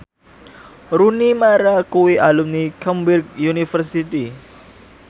Rooney Mara kuwi alumni Cambridge University